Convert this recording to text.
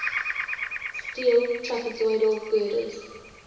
steel trapezoidal girders